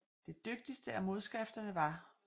Det dygtigste af modskrifterne var J